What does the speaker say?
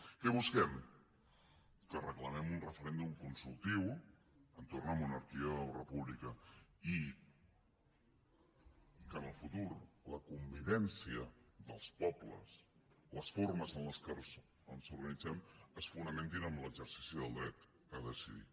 què busquem que reclamem un referèndum consultiu entorn de monarquia o república i que en el futur la convivència dels pobles les formes en què ens organitzem es fonamentin en l’exercici del dret a decidir